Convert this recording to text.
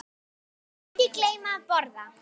Ekki gleyma að borða.